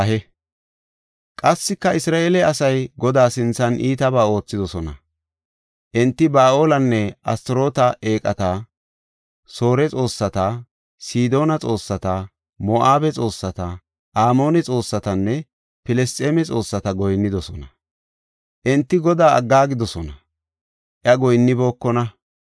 Qassika Isra7eele asay Godaa sinthan iitabaa oothidosona. Enti Ba7aalenne Astaroota eeqata, Soore xoossata, Sidoona xoossata, Moo7abe xoossata, Amoone xoossatanne Filisxeeme xoossata goyinnidosona. Enti Godaa aggaagidosona; iya goyinnibookona.